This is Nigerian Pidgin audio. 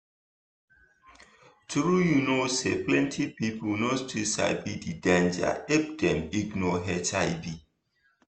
trueyou know say plenty people no still sabi d danger if dem ignore hiv